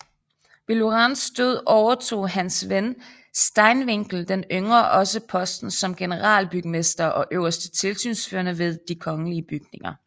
Ved Lorenz død overtog Hans van Steenwinckel den yngre også posten som generalbygmester og øverste tilsynsførende ved de kongelige bygninger